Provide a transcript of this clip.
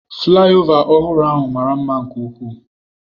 Flaịova ọhụrụ ahụ mara mma nke ukwuu.